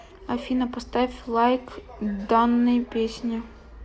афина поставь лайк данной песне